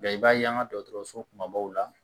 i b'a ye an ka dɔgɔtɔrɔso kumabaw la